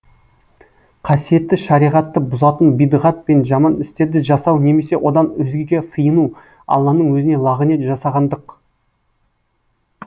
қасиетті шариғатты бұзатын бидғат пен жаман істерді жасау немесе одан өзгеге сыйыну алланың өзіне лағынет жасағандық